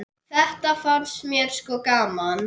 Þetta fannst mér sko gaman.